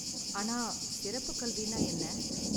ஆனா சிறப்புக் கல்வின்னா என்ன?